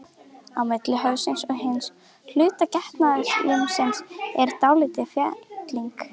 Á milli höfuðsins og hins hluta getnaðarlimsins er dálítil felling.